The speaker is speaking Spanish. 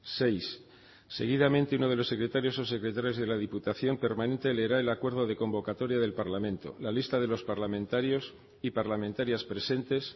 seis seguidamente uno de los secretarios o secretarias de la diputación permanente leerá el acuerdo de convocatoria del parlamento la lista de los parlamentarios y parlamentarias presentes